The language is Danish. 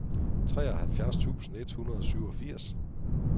treoghalvfjerds tusind et hundrede og syvogfirs